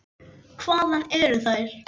Hvaðan eru þær.